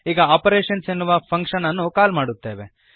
ಈಗ ಆಪರೇಶನ್ಸ್ ಎನ್ನುವ ಫಂಕ್ಶನ್ ಅನ್ನು ಕಾಲ್ ಮಾಡುತ್ತೇವೆ